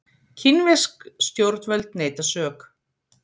Kínversk stjórnvöld neita sök